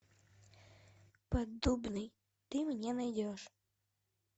поддубный ты мне найдешь